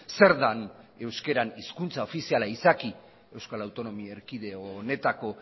zer den euskaran hizkuntza ofiziala izaki euskal autonomia erkidego honetako